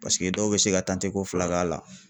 Paseke dɔw bɛ se ka ko fila k'a la.